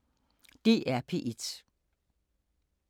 DR P1